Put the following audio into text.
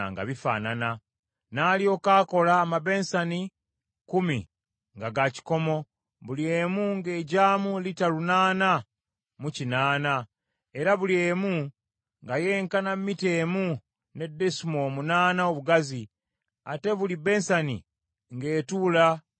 N’alyoka akola amabensani kkumi, nga ga kikomo, buli emu ng’egyamu lita lunaana mu kinaana, era buli emu nga yenkana mita emu ne desimoolo munaana obugazi, ate buli bensani ng’etuula ku kitebe kyayo.